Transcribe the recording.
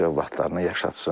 öz övladlarını yaşatsın.